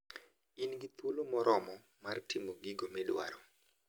In gi thuolo moromo mar timo gigo midwaro.